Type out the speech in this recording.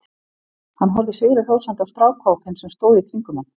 Hann horfði sigri hrósandi á strákahópinn sem stóð í kringum hann.